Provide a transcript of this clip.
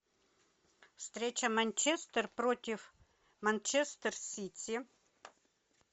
встреча манчестер против манчестер сити